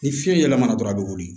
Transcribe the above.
Ni fiɲɛ yɛlɛmana dɔrɔn a be wuli